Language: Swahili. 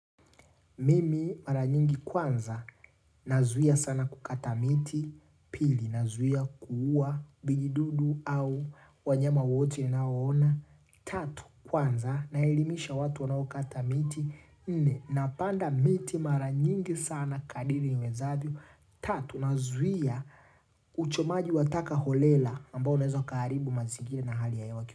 Mimi mara nyingi kwanza, nazuia sana kukata miti, pili, nazuia kuuwa, vijiidudu au, wanyama wote naoona, tatu, kwanza, naelimisha watu wanaokata miti, nne, napanda miti mara nyingi sana kadiri uwezavyo, tatu, nazuia, uchomaji wa taka holela, ambao unezo karibu mazingira na hali ya wakibu.